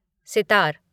sitar